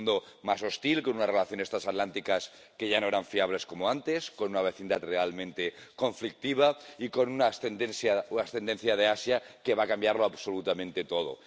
Un mundo más hostil, con unas relaciones trasatlánticas que ya no son fiables como antes, con una vecindad realmente conflictiva y con una ascendencia de Asia que va a cambiarlo absolutamente todo.